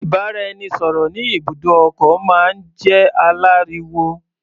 Ìbáraẹnisọ̀rọ̀ ní ibùdó ọkọ̀ máa ń jẹ́ aláriwo.